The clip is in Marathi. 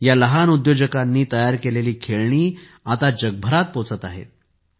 या लहान उद्योजकांनी तयार केलेली खेळणी जगभरात पोहचत आहेत